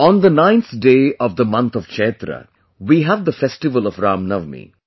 On the ninth day of the month of Chaitra, we have the festival of Ram Navami